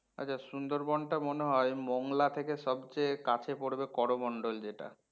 আচ্ছা সুন্দরবন টা মনে হয় মঙ্গলা থেকে সবচেয়ে কাছে পরবে করমণ্ডল যেটা